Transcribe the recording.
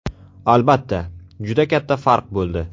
Albatta, juda katta farq bo‘ldi.